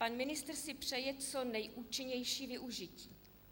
Pan ministr si přeje co nejúčinnější využití.